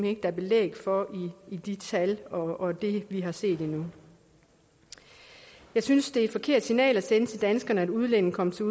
ikke der er belæg for i de tal og i det vi har set indtil nu jeg synes det er et forkert signal at sende til danskerne at udlændinge kommer til